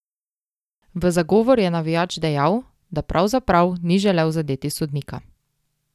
V zagovor je navijač dejal, da pravzaprav ni želel zadeti sodnika.